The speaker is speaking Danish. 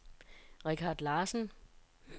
Richard Larsen